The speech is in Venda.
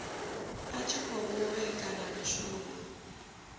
i tshi khou vhekanya mishumo